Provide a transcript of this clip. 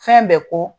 Fɛn bɛɛ ko